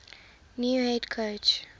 new head coach